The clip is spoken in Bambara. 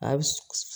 A bi